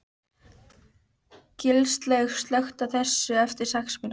Gilslaug, slökktu á þessu eftir sex mínútur.